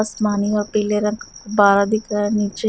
आसमानी और पीले रंग बारा दिख रहा है नीचे।